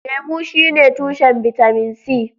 Lemu shine tushen bitamin C.